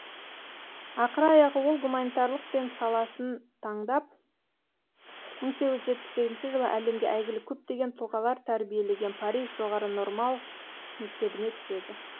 ақыр аяғы ол гуманитарлық пен саласын таңдап мың сегіз жүз жетпіс сегізінші жылы әлемге әйгілі көптеген тұлғалар тәрбиелеген париж жоғары нормал мектебіне түседі